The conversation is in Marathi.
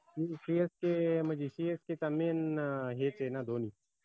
CSK म्हनजे CSK चा main अं हेच आय न धोनी